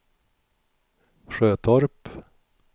Sjötorp